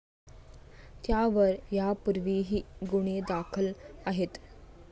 त्यावर यापूर्वीही गुन्हे दाखल आहेत.